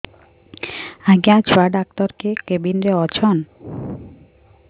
ଆଜ୍ଞା ଛୁଆ ଡାକ୍ତର କେ କେବିନ୍ ରେ ଅଛନ୍